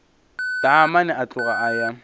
taamane a tloga a ya